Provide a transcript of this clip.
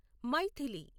Maithili